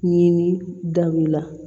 Ɲini dabila